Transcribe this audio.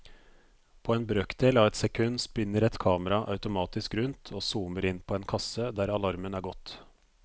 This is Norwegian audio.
På en brøkdel av et sekund spinner et kamera automatisk rundt og zoomer inn på en kasse der alarmen har gått.